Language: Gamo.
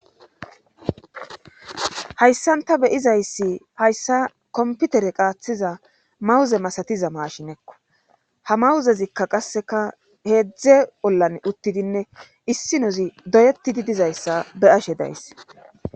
hayssan ta beyizayssi fayssa komputere qaaththiza mawuze masatiza maashinekko ha mawuzezikka qasseka heedzdze ollan uttidinne issi nozi doyetidi dizayssa be ashe daysse